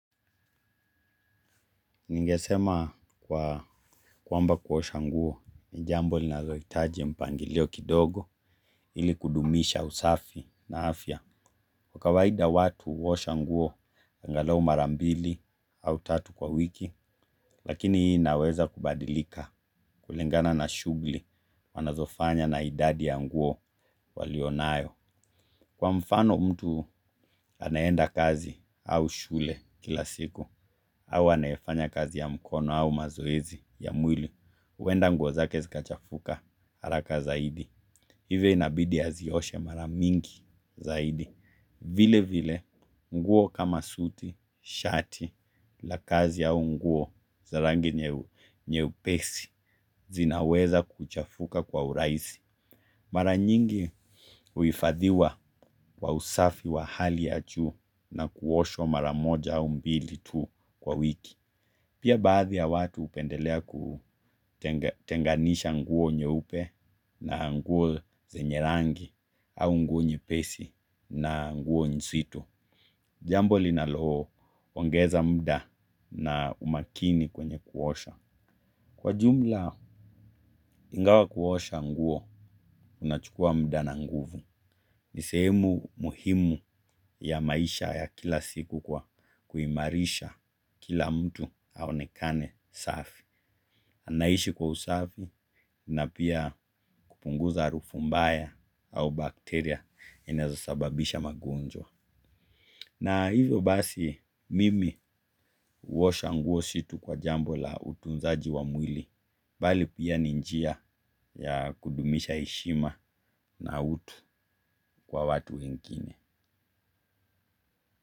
Ningesema kwamba kuosha nguo ni jambo linalohitaji mpangilio kidogo ili kudumisha usafi na afya. Kwa kawaida watu huosha nguo angalau mara mbili au tatu kwa wiki lakini inaweza kubadilika kulingana shughuli wanazofanya na idadi ya nguo walionayo. Kwa mfano mtu anaye enda kazi au shule kila siku, au anayefanya kazi ya mkono au mazoezi ya mwili, huenda nguo zake zikachafuka haraka zaidi. Hivyo inabidi azioshe mara mingi zaidi. Vile vile nguo kama suti shati la kazi au nguo za rangi nyepesi zinaweza kuchafuka kwa urahisi. Mara nyingi huifadhiwa wa usafi wa hali ya juu na kuoshwa mara moja au mbili tu kwa wiki. Pia baadhi ya watu hupendelea kutenganisha nguo nyeupe na nguo zenye rangi au nguo nyepesi na nguo nzito. Jambo linaloongeza muda na umakini kwenye kuosha. Kwa jumla, ingawa kuosha nguo, unachukua mda na nguvu. Nisehemu muhimu ya maisha ya kila siku kwa kuimarisha kila mtu aonekane safi. Ninaishi kwa usafi na pia kupunguza harufu mbaya au bacteria zinazosababisha magonjwa. Na hivyo basi mimi huosha nguo si tu kwa jambo la utunzaji wa mwili, bali pia ni njia ya kudumisha heshima na utu kwa watu wengine.